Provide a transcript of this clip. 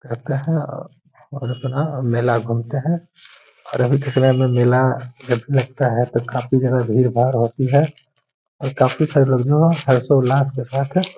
करते है अ और अपना मेला घूमते है और अभी के समय में मेला लगता है तो काफ़ी ज्यादा भीड़ भाड़ होती है। और काफी सारे लोग हर्षोल्लास के साथ --